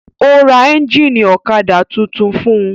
Ó ra ẹ́ńjínì ọ̀kadà tuntun fún un.